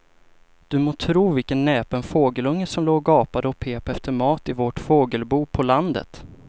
Du må tro vilken näpen fågelunge som låg och gapade och pep efter mat i vårt fågelbo på landet.